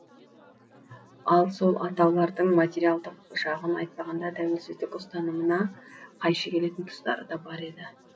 ал сол атаулардың материалдық жағын айтпағанда тәуелсіздік ұстанымына қайшы келетін тұстары да бар еді